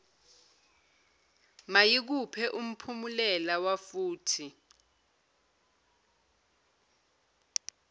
mayikuphe umphumulela wafuthi